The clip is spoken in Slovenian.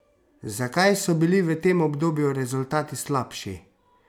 Zakaj so bili v tem obdobju rezultati slabši?